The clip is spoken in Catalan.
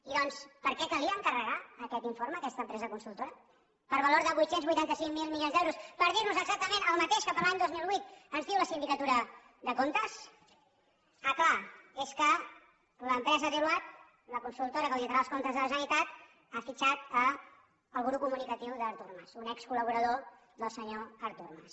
i doncs per què calia encarregar aquest informe a aquesta empresa consultora per valor de vuit cents i vuitanta cinc mil milions d’euros per dir nos exactament el mateix que per a l’any dos mil vuit ens diu la sindicatura de comptes ah clar és que l’empresa deloitte la consultora que auditarà els comptes de la generalitat ha fitxat el guru comunicatiu d’artur mas un excol·laborador del senyor artur mas